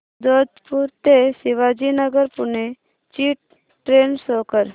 जोधपुर ते शिवाजीनगर पुणे ची train show कर